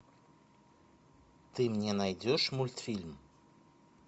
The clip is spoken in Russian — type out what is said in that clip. ты мне найдешь мультфильм